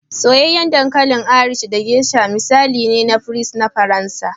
Soyayyen dankalin Irish da geasha misali ne na fries na Faransa